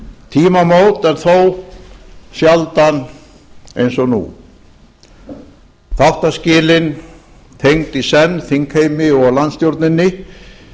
tímamót en þó sjaldan eins og nú þáttaskilin tengd í senn þingheimi og landstjórninni